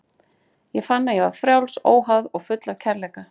Ég fann að ég var frjáls, óháð og full af kærleika.